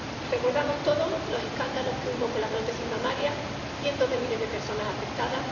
recordamos todos los escándalos que hubo con las prótesis mamarias cientos de miles de personas afectadas